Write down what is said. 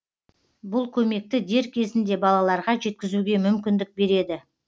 бұл көмекті дер кезінде балаларға жеткізуге мүмкіндік береді